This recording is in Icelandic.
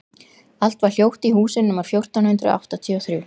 Allt var hljótt í húsinu númer fjórtán hundruð áttatíu og þrjú.